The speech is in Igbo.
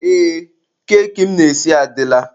Ee, keki m na-esi adịla.